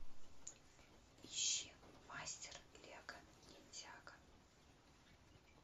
ищи мастер лего ниндзяго